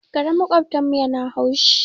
Karen maƙotan mu yana haushi